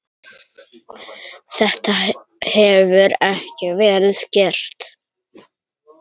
Þetta hefur ekki verið gert.